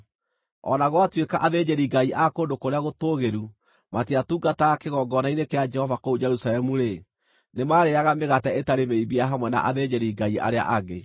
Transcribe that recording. O na gwatuĩka athĩnjĩri-ngai a kũndũ kũrĩa gũtũũgĩru matiatungataga kĩgongona-inĩ kĩa Jehova kũu Jerusalemu-rĩ, nĩmarĩĩaga mĩgate ĩtarĩ mĩimbie hamwe na athĩnjĩri-Ngai arĩa angĩ.